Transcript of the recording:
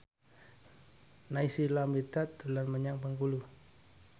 Naysila Mirdad dolan menyang Bengkulu